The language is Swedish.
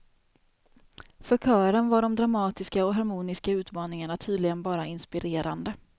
För kören var de dramatiska och harmoniska utmaningarna tydligen bara inspirerande.